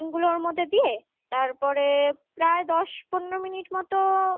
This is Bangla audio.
chicken গুলোর মধ্যে দিয়ে তারপরে প্রায় দশ পনেরো মিনিট মতো